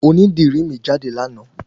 Oní dìrí mi jáde láàná